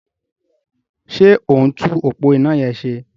Ṣé ó ń tún òpó iná yẹn ṣe?